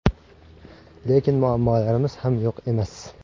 Lekin muammolarimiz ham yo‘q emas.